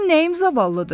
Mənim nəyim zavallıdır?